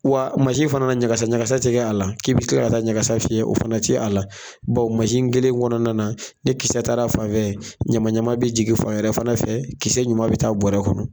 Wa mansin fana ɲagasa ɲagasa tɛ kɛ a la, k'i bɛ kila ka taa ɲagasa fiyɛ o fana tɛ ye ala, mansin kelen kɔnɔna na ni kisɛ taara fan fɛ ye, ɲamaɲama bɛ jigin fan wɛrɛ fana fɛ, ki ɲuman bɛ taa bɔrɛ kɔnɔ.